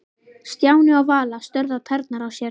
Stjáni og Vala störðu á tærnar á sér.